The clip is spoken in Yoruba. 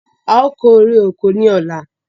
Áà ó kéré oko ni ọ̀la